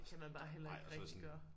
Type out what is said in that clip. Og sådan det går bare og så sådan